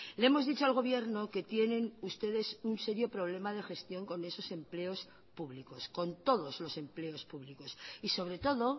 le hemos dicho al gobierno que tienen ustedes un serio problema de gestión con esos empleos públicos con todos los empleos públicos y sobre todo